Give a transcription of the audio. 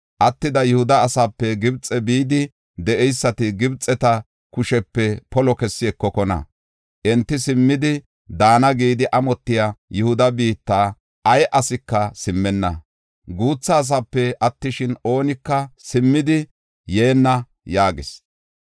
Attida Yihuda asaape Gibxe bidi de7eysati Gibxeta kushiyape polo kessi ekokona. Enti simmidi daana gidi amotiya Yihuda biitta ay asika simmenna. Guutha asape attishin, oonika simmidi yeenna” yaagis.